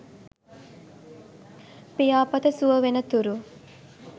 පියාපත සුව වෙන තුරු